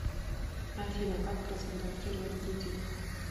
афина как разблокировать кредитку